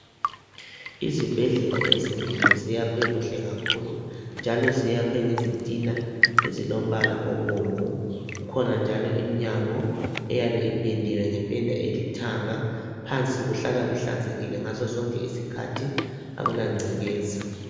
Izibhedlela ezinengi zakhiwe kuhle kakhulu njalo zakhiwe ngezitina ezilombala obomvu. Kukhona njalo imnyango eyabe ipendiwe ngependa elithanga. Phansi kuhlala kuhlanzekile ngasosonke isikhathi akulagcekeza